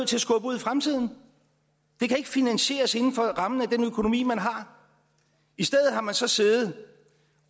til at skubbe ud i fremtiden de kan ikke finansieres inden for rammen af den økonomi man har i stedet har man så siddet